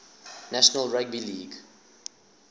national rugby league